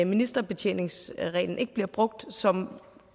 ministerbetjeningsreglen ikke bliver brugt som